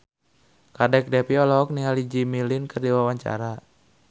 Kadek Devi olohok ningali Jimmy Lin keur diwawancara